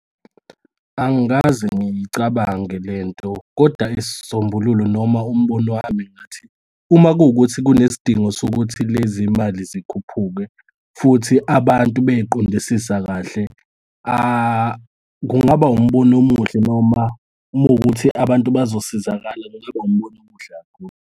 Angikaze ngiyicabange lento koda isisombululo noma umbono wami ngathi, uma kuwukuthi kunesidingo sokuthi lezimali zikhuphuke futhi abantu beyiqondisisa kahle, kungaba umbono omuhle, noma uma kuwukuthi abantu bazosizakala, kungaba umbono omuhle kakhulu.